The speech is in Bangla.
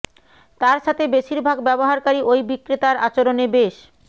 তার সাথে বেশির ভাগ ব্যবহারকারী ওই বিক্রেতার আচরণে বেশ